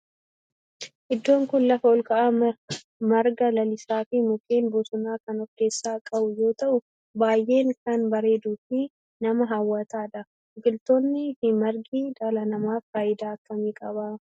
Iddoon kun lafa olka'aa marga lalisaa fi mukkeen bosonaa kan of keessaa qabu yoo ta'u baayyee kan bareeduu fi nama hawwatu dha. biqiltooni fi margi dhala namaaf faayidaa akkamii qaba?